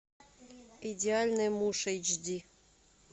идеальный муж эйч ди